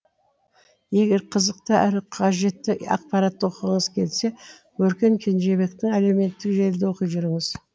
егер қызықты әрі қажетті ақпаратты оқығыңыз келсе өркен кенжебекті әлеуметтік желіде оқи жүріңіз